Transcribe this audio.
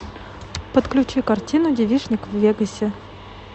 подключи картину девичник в вегасе